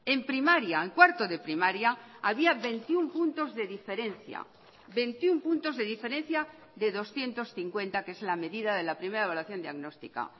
en primaria en cuarto de primaria había veintiuno puntos de diferencia veintiuno puntos de diferencia de doscientos cincuenta que es la medida de la primera evaluación diagnóstica